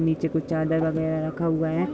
नीचे कुछ चादर वगेरा रख हुआ है।